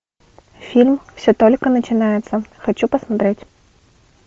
фильм все только начинается хочу посмотреть